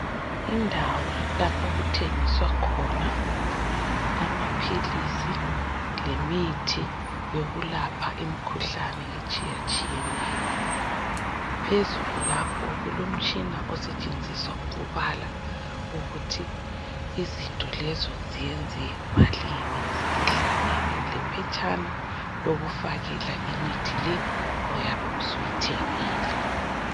Indawo lapho okuthengiswa khona amaphilisi lemithi yokulapha imikhuhlane etshiyatshiyeneyo. Phezulu lapho kulomtshina osetshenziswa ukubala ukuthi izinto lezo ziyenze malini sezihlangene lephetshana lokufakela imithi le oyabe usuyithengile.